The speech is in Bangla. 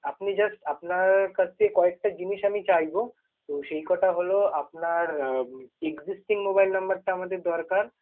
আপনি just আপনার কাছে কয়েকটা জিনিস আমি চাইব, তো সেই কটা হলো আপনার উম existing mobile number টা আমাদের দরকার।